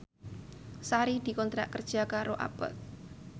Sari dikontrak kerja karo Abboth